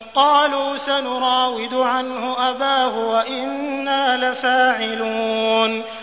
قَالُوا سَنُرَاوِدُ عَنْهُ أَبَاهُ وَإِنَّا لَفَاعِلُونَ